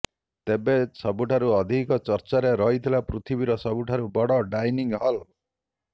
ତେବେ ସବୁଠାରୁ ଅଧିକ ଚର୍ଚ୍ଚାରେ ରହିଥିଲା ପୃଥିବୀର ସବୁଠାରୁ ବଡ ଡାଇନିଂ ହଲ